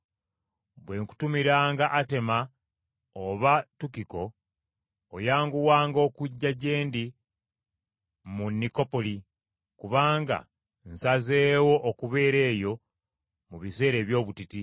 Bwe nkutumiranga Atema oba Tukiko, oyanguwanga okujja gye ndi mu Nikopoli, kubanga nsazeewo okubeera eyo mu biseera eby’obutiti.